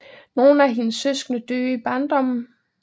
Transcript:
Nogle af hendes søskende døde i barndommen